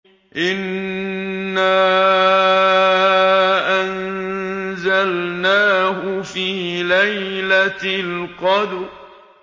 إِنَّا أَنزَلْنَاهُ فِي لَيْلَةِ الْقَدْرِ